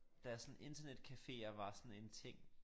Da sådan internetcaféer var sådan en ting